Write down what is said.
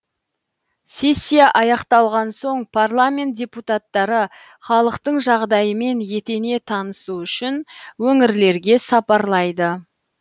сессия аяқталған соң парламент депутаттары халықтың жағдайымен етене танысу үшін өңірлерге сапарлайды